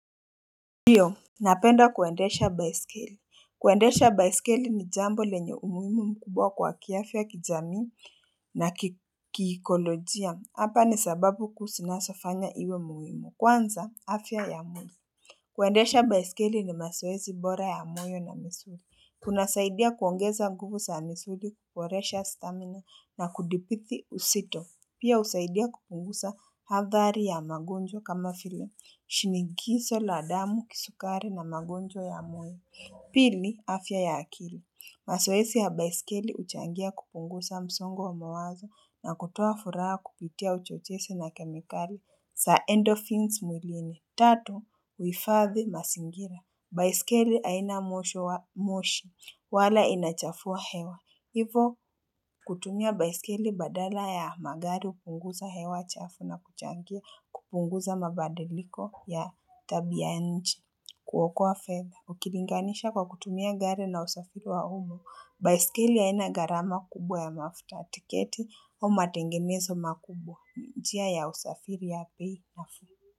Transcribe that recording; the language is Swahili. Ndiyo, napenda kuendesha baisikeli. Kuendesha baisikeli ni jambo lenye umuhimu mkubwa kwa kiafya kijamii na kikikolojia. Hapa ni sababu kusinasafanya iwe muhimu. Kwanza, afya ya muhimu. Kuwendesha baisikeli ni maswezi bora ya mwimu na misuli. Tunasaidia kuongeza guvusa ya misuli, kukworesha stamina na kudipithi usito. Pia usaidia kupungusa hadhari ya magonjo kama file. Shinigiso la adamu kisukare na magonjo ya mwe. Pili, afya ya akili. Masoesi ya baisikeli uchangia kupungusa msongo wa mawazo na kutua furaha kupitia uchochese na kemikali. Sa endorphins mulini. Tato, uifathi masingira. Baisikeli haina moshi wa moshi. Wala inachafuwa hewa. Hivo kutumia baisikele badala ya magari upunguza hewa chafu na kuchangia kupunguza mabadiliko ya tabi ya nchi kuwoko wa feather Ukilinganisha kwa kutumia gari na usafiri wa umu, baisikele ya ina gharama kubwa ya mafuta tiketi wa matengemezo makubwa njia ya usafiri ya pei na fuhu.